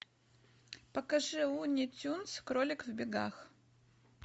покажи луни тюнз кролик в бегах